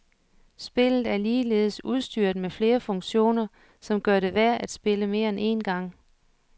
Spillet er ligeledes udstyret med flere funktioner, som gør det værd at spille mere end en gang.